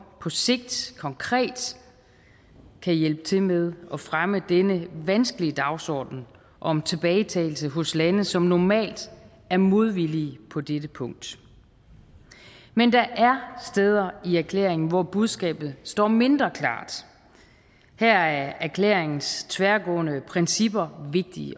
på sigt konkret kan hjælpe til med at fremme denne vanskelige dagsorden om tilbagetagelse hos lande som normalt er modvillige på dette punkt men der er steder i erklæringen hvor budskabet står mindre klart her er erklæringens tværgående principper vigtige